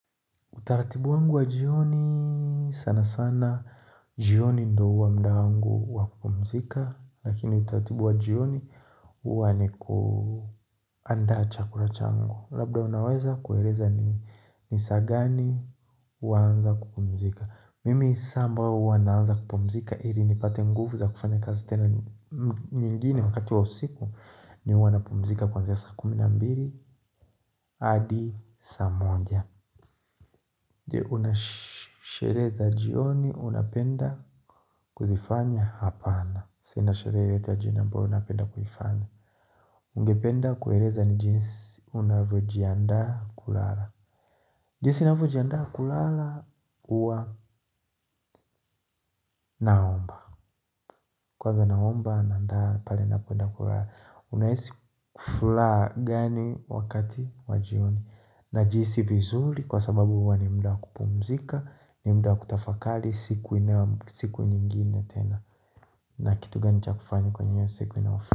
Utaratibu wangu wa jioni sana sana, jioni ndo huwa mda wangu wa kupumzika, lakini utaratibu wa jioni huwa ni kuanda chakula changu. Labda unaweza kueleza ni ni saa gani huanza kupumzika. Mimi saa ambayo huwa naanza kupumzika, ili nipate nguvu za kufanya kazi tena nyingine wakati wa usiku, ni huwa napumzika kwanzia ya saa kumi na mbili, hadi, saa moja. Je una sherehe za jioni unapenda kuzifanya hapana Sina sherehe za jioni ambayo napenda kuifanya Ungependa kuereza ni jinsi unavyojiandaa kulala jinsi ninavyojiandaa kulala uwa naomba Kwanza naomba nandaa pale ninapoenda kulala Unahisi kufulaha gani wakati wa jioni Najihisi vizuri kwa sababu huwa ni mda wa kupumzika ni mda kutafakali siku inayo siku nyingine tena na kitu gani cha kufanya kwenye hiyo siku inayofu.